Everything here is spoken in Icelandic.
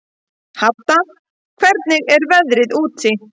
Hadda, hvernig er veðrið úti?